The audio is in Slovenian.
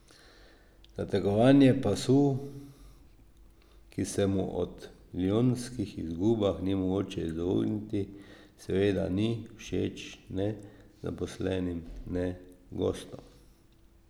Zategovanje pasu, ki se mu ob milijonskih izgubah ni mogoče izogniti, seveda ni všeč ne zaposlenim ne gostom.